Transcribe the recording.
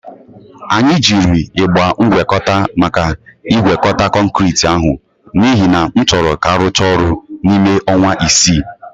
Anyị jiri ịgba ngwekọta maka ịgwekọta kọnkirit ahụ n'ihi na m chọrọ ka a rụchaa ọrụ n'ime ọnwa isii.